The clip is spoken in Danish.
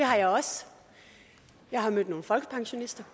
har jeg også jeg har mødt nogle folkepensionister